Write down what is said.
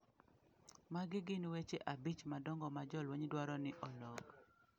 Magi gin weche abich madongo ma jolweny dwaro ni olok.